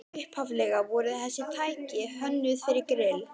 Upphaflega voru þessi tæki hönnuð fyrir grill